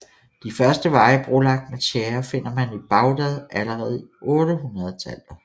De første veje brolagt med tjære finder man i Baghdad allerede i 800 tallet